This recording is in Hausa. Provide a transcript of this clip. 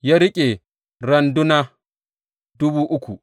Ya riƙe randuna dubu uku.